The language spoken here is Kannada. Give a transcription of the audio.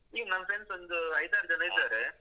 ಹೀಗೆ ನನ್ friends ಒಂದು ಐದಾರ್ ಜನ ಇದ್ದಾರೆ.